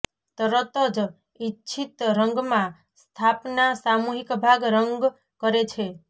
તરત જ ઇચ્છિત રંગ માં સ્થાપના સામૂહિક ભાગ રંગ કરે છે